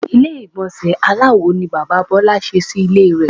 Ilé ìgbònsè aláwo ni Bàbá Bólá se sí Ilé re